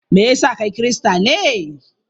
Me ya sa kai Kirista ne?